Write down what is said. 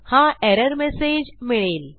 हा error message मिळेल